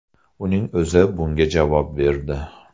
Uning o‘zi bunga javob berdi.